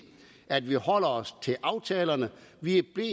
at vi holder os til aftalerne vi er